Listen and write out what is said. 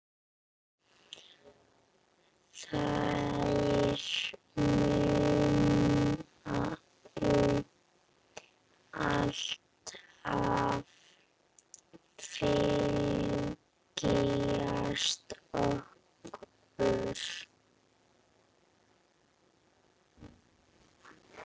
Þær munu alltaf fylgja okkur.